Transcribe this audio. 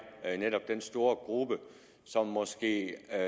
netop den store gruppe som måske er